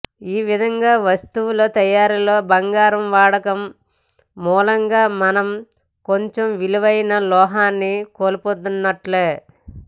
ఈ విధంగా వస్తువుల తయారీలో బంగారం వాడకం మూలంగా మనం కొంచెం విలువైన లోహాన్ని కోల్పోతున్నట్లే